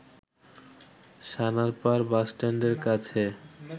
সানারপাড় বাসস্ট্যান্ডের কাছে